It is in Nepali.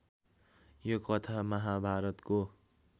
यो कथा महाभारतको